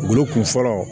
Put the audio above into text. Wolokun fɔlɔ